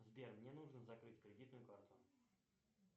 сбер мне нужно закрыть кредитную карту